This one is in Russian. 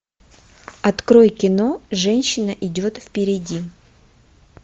открой кино женщина идет впереди